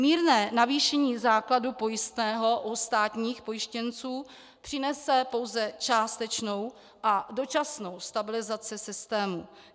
Mírné navýšení základu pojistného u státních pojištěnců přinese pouze částečnou a dočasnou stabilizaci systému.